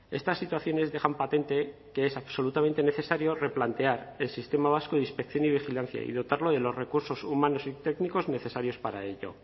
estas situaciones dejan patente que es absolutamente necesario replantear el sistema vasco de inspección y vigilancia y dotarlo de los recursos humanos y técnicos necesarios para ello